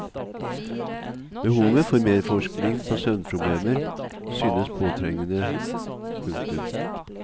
Behovet for mer forskning på søvnproblemer synes påtrengende. punktum